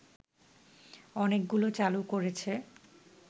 অনেকগুলো চালু করেছে